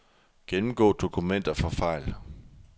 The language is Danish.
Gennemgå dokumenter for fejl.